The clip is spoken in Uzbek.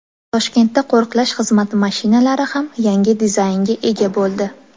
Toshkentda qo‘riqlash xizmati mashinalari ham yangi dizaynga ega bo‘ldi.